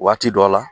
Waati dɔ la